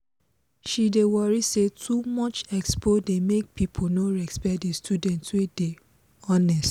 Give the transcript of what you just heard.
she dey worry say too much expo dey make people no respect the students wey dey honest.